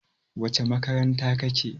wacece makaranta kake?